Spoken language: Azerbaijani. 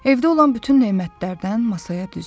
Evdə olan bütün nemətlərdən masaya düzdü.